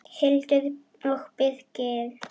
Hildur og Birgir.